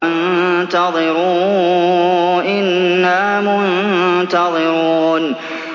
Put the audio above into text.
وَانتَظِرُوا إِنَّا مُنتَظِرُونَ